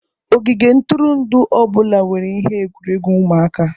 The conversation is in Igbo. Ogige ntụrụndụ ọ bụla nwere ihe egwuregwu ụmụaka